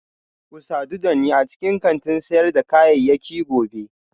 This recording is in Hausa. Ku sadu da ni a cikin kantin sayar da kayayyaki gobe